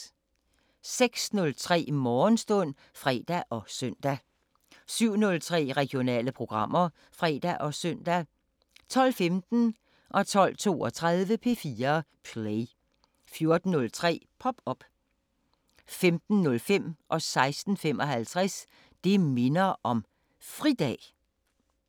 06:03: Morgenstund (fre og søn) 07:03: Regionale programmer (fre og søn) 12:15: P4 Play 12:32: P4 Play 14:03: Pop op 15:05: Det minder om fridag 16:55: Det minder om fridag